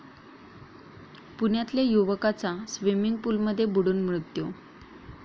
पुण्यातल्या युवकाचा स्वीमिंग पूलमध्ये बुडून मृत्यू